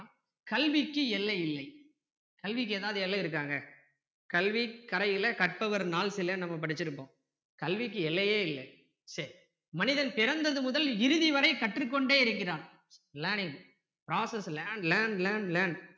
கல்விக்கு எதாவது எல்லை இருக்காங்க கல்வி கரையில கற்பவர் நாள் சில நம்ம படிச்சிருக்கோம் கல்விக்கு எல்லையே இல்லை சரி மனிதன் பிறந்தது முதல் இறுதி வரை கற்று கொண்டே இருக்கிறான் learning process learn learn learn